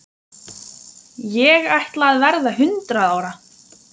Ég ætla að verða hundrað ára.